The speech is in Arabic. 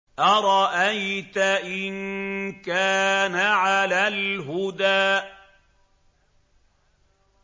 أَرَأَيْتَ إِن كَانَ عَلَى الْهُدَىٰ